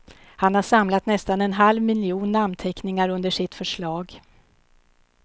Han har samlat nästan en halv miljon namnteckningar under sitt förslag.